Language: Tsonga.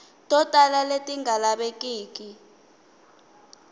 to tala leti nga lavekiki